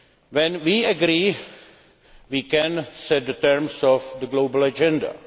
When we agree, we can set the terms of the global agenda.